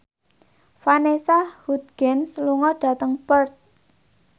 Vanessa Hudgens lunga dhateng Perth